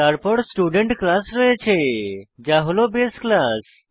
তারপর student class রয়েছে যা হল বাসে ক্লাস